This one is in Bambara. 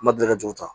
N ma deli ka juru ta